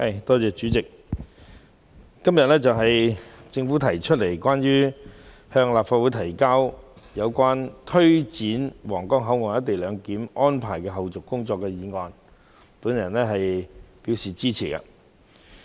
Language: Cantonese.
代理主席，對於政府今天向立法會提交有關推展皇崗口岸「一地兩檢」安排的後續工作的議案，我是支持的。